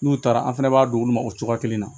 N'u taara an fɛnɛ b'a d'olu ma o cogoya kelen na